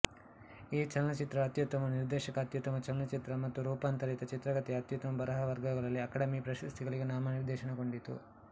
ಈ ಚಲನಚಿತ್ರವು ಅತ್ಯುತ್ತಮ ನಿರ್ದೇಶಕ ಅತ್ಯುತ್ತಮ ಚಲನಚಿತ್ರ ಮತ್ತು ರೂಪಾಂತರಿತ ಚಿತ್ರಕಥೆಯ ಅತ್ಯುತ್ತಮ ಬರಹದ ವರ್ಗಗಳಲ್ಲಿ ಅಕಾಡೆಮಿ ಪ್ರಶಸ್ತಿಗಳಿಗೆ ನಾಮನಿರ್ದೇಶನಗೊಂಡಿತ್ತು